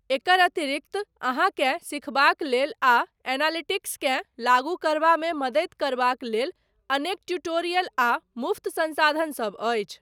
एकर अतिरिक्त, अहाँकेँ सिखबाक लेल, आ एनालिटिक्सकेँ लागू करबामे मददि करबाक लेल, अनेक ट्यूटोरियल आ मुफ्त संसाधन सब अछि।